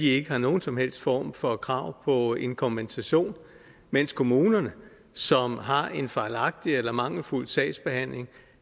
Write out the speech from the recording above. ikke har nogen som helst form for krav på en kompensation mens kommunerne som har en fejlagtig eller mangelfuld sagsbehandling